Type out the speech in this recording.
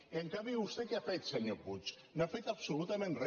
i en canvi vostè què ha fet senyor puig no ha fet absolutament re